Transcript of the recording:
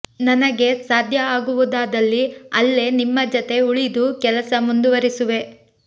ನನಗೆ ಸಾಧ್ಯ ಆಗುವದಾದಲ್ಲಿ ಅಲ್ಲೇ ನಿಮ್ಮ ಜತೆ ಉಳಿದು ಕೆಲಸ ಮುಂದುವರಿಸುವೆ